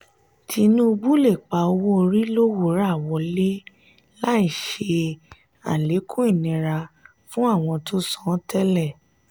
tinubu le pa owó-orí lowura wọlé láì ṣe alekun ìnira fún àwọn tó san tẹlẹ.